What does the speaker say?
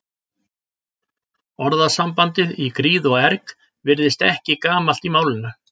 Orðasambandið í gríð og erg virðist ekki gamalt í málinu.